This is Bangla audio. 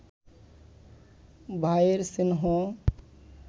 ভায়ের স্নেহ